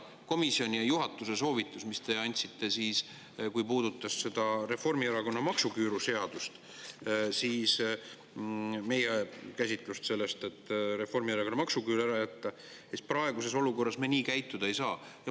Komisjoni ja juhatuse selle soovituse järgi, mille te andsite ja mis puudutas Reformierakonna maksuküüru seadust, meie käsitlust sellest, et Reformierakonna maksuküür ära jätta, praeguses olukorras käituda ei saa.